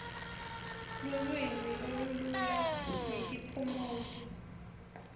lulwimi lolumalula netiphumuti